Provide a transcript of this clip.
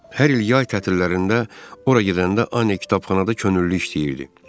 Hər il yay tətillərində ora gedəndə Anni kitabxanada könüllü işləyirdi.